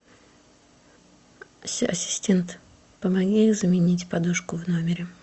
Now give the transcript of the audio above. ассистент помоги заменить подушку в номере